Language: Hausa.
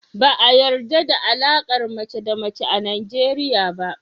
Ba a yarɗa da alaƙar mace da mace a Najeriya ba.